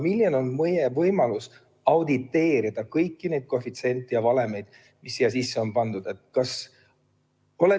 Milline on meie võimalus auditeerida kõiki neid koefitsiente ja valemeid, mis siia sisse on pandud?